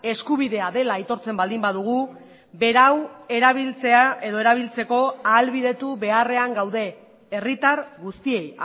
eskubidea dela aitortzen baldin badugu berau erabiltzea edo erabiltzeko ahalbidetu beharrean gaude herritar guztiei